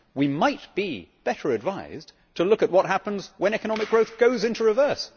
We might be better advised to look at what happens when economic growth goes into reverse.